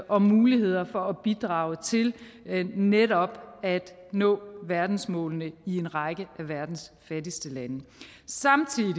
og muligheder for at bidrage til netop at nå verdensmålene i en række af verdens fattigste lande samtidig